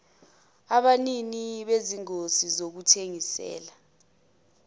abanini bezingosi zokuthengisela